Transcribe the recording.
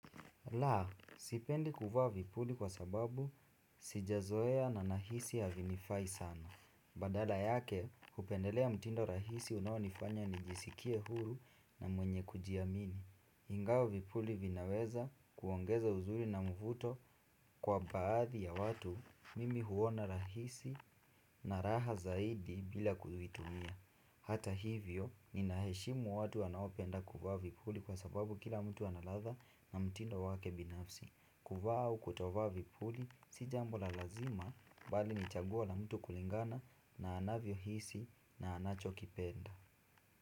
Laa, sipendi kuvaa vipuli kwa sababu sijazoea na nahisi havinifai sana. Badala yake, hupendelea mtindo rahisi unaonifanya nijisikie huru na mwenye kujiamini ingawa vipuli vinaweza kuongeza uzuri na mvuto kwa baadhi ya watu, mimi huona rahisi na raha zaidi bila kuvitumia. Hata hivyo, nina heshimu watu wanaopenda kuvaa vipuli kwa sababu kila mtu ana ladha na mtindo wake binafsi. Kuvaa au kutovaa vipuli, si jambo la lazima bali ni chaguo la mtu kulingana na anavyo hisi na anacho kipenda.